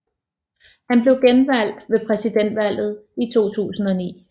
Han blev genvalgt ved præsidentvalget i 2009